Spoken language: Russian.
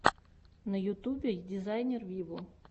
на ютубе дизайнер виво